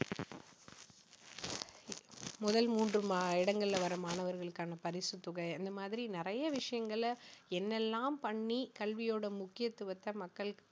முதல் மூன்று ம~ இடங்கள்ல வர மாணவர்களுக்கான பரிசுத் தொகை இந்த மாதிரி நிறைய விஷயங்களை என்னெல்லாம் பண்ணி கல்வியோட முக்கியத்துவத்தை மக்கள்